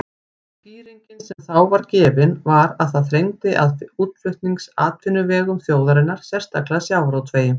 Skýringin sem þá var gefin var að það þrengdi að útflutningsatvinnuvegum þjóðarinnar, sérstaklega sjávarútvegi.